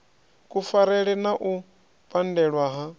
kufarele na u pandelwa ha